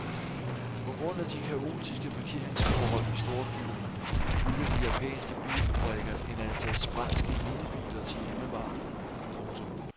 På grund af de kaotiske parkeringsforhold i storbyerne bygger de japanske bilfabrikker et antal sprælske minibiler til hjemmemarkedet. punktum